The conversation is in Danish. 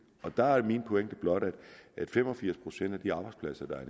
der er min pointe blot at fem og firs procent af de arbejdspladser der er